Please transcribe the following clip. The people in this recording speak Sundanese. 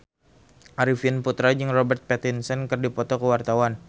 Arifin Putra jeung Robert Pattinson keur dipoto ku wartawan